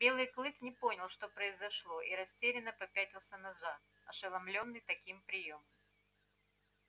белый клык не понял что произошло и растерянно попятился назад ошеломлёмный таким приёмом